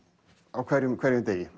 á hverjum á hverjum degi